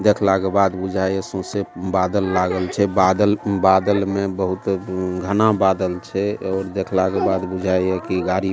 देखला के बाद बुझाय ये सोसे बादल लागल छै बादल-बादल में उम्म बहुत घना बादल छै और देखला के बाद बुझाय ये की गाड़ी --